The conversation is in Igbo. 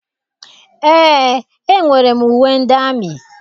Eé, enwere m uwe ndị amị.